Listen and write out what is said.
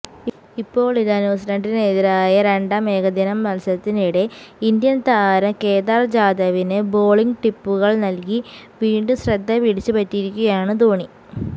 ഇപ്പോളിതാ ന്യൂസിലൻഡിനെതിരായ രണ്ടാം ഏകദിന മത്സരത്തിനിടെ ഇന്ത്യൻ താരം കേദാർ ജാദവിന് ബോളിംഗ് ടിപ്പുകൾനൽകി വീണ്ടും ശ്രദ്ധ പിടിച്ചുപറ്റിയിരിക്കുകയാണ് ധോണി